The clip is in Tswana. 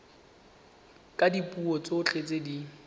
ka dipuo tsotlhe tse di